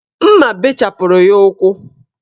Mma bechapụrụ ya ukwu